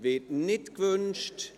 Dies wird nicht gewünscht.